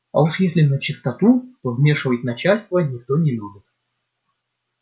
а уж если начистоту то вмешивать начальство никто не любит